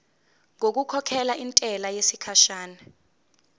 ngokukhokhela intela yesikhashana